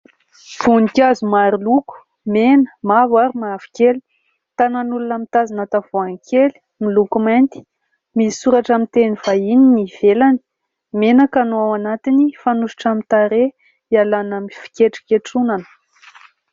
Voninkazo maro loko : mena, mavo ary mavokely. Tanan'olona mitazona tavoahangy kely miloko mainty, misy soratra amin'ny teny vahiny ny ivelany. Menaka no ao anatiny, fanosotra amin'ny tarehy, ialana amin'ny fikentronketronana.